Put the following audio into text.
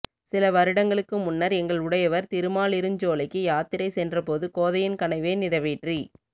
சில வருடங்களுக்கு முன்னர் எங்கள் உடையவர் திருமாலிருஞ்சோலைக்கு யாத்திரை சென்றபோது கோதையின் கனவை நிறைவேற்றி